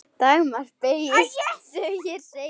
Dagmar beygist sem hér segir